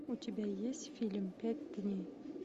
у тебя есть фильм пять дней